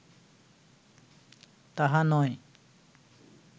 তাহা নয়